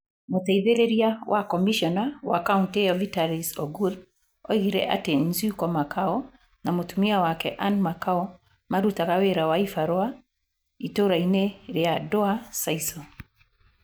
Mũteithĩrĩria wa komĩcona wa kaũntĩ ĩo Vitalis Ogur oigire atĩ Nzyuko Makau na mũtumia wake Ann Makau marutaga wĩra wa ibarũa ĩtũũra-inĩ rĩa Dwa Sisal.